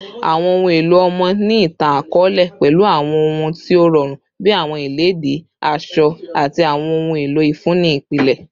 Awọn ohun elo ọmọ ni itan-akọọlẹ pẹlu awọn ohun ti o rọrun bi awọn iledìí asọ ati awọn ohun elo ifunni ipilẹ